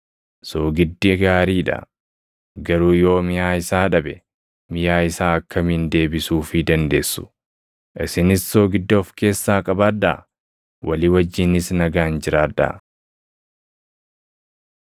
“Soogiddi gaarii dha; garuu yoo miʼaa isaa dhabe, miʼaa isaa akkamiin deebisuufii dandeessu? Isinis soogidda of keessaa qabaadhaa; walii wajjinis nagaan jiraadhaa.”